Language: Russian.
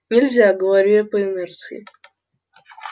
нельзя говорю я по инерции